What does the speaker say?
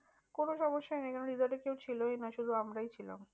কোনো সমস্যায় নেই কারণ resort এ কেউ ছিলই না শুধু আমরাই ছিলাম।